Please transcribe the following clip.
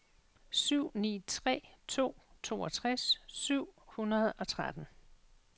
syv ni tre to toogtres syv hundrede og tretten